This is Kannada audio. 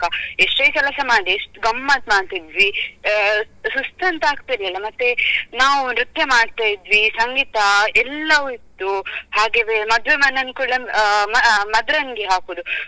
ಎಷ್ಟೇ ಕೆಲಸ ಮಾಡಿ ಎಷ್ಟ್ ಗಮ್ಮತ್ ಮಾಡ್ತಾ ಇದ್ವಿ ಆ ಸುಸ್ತಂತ ಆಗ್ತಾ ಇರ್ಲಿಲ್ಲ ಮತ್ತೆ ನಾವು ನೃತ್ಯ ಮಾಡ್ತಾ ಇದ್ವಿ ಸಂಗೀತಾ ಎಲ್ಲವು ಇತ್ತು ಹಾಗೆವೇ ಮದುವೆ ಮನೆ ಅಲ್ಲಿ ಕೂಡ ಅ ಮದರಂಗಿ ಹಾಕುದು.